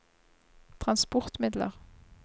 transportmidler